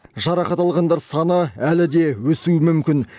жарақат алғандар саны әлі де өсуі мүмкін